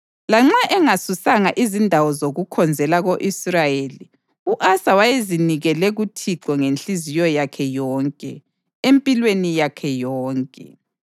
Lanxa engasusanga izindawo zokukhonzela ko-Israyeli, u-Asa wayezinikele kuThixo ngenhliziyo yakhe yonke empilweni yakhe yonke.